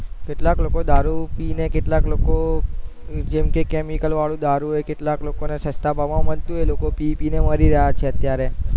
કેટલાક લોકો દારૂ પી ને કેટલાક લોકો જેમકે chemical વરુ દારૂ કેટલાક લોકો ને સસ્તા ભાવ માં મળતું હોય એટલે લોકો પી પી ને મરી રહ્યા છે